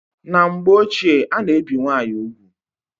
Na mgbe ọchie ana ebi nwaanyị ụgwụ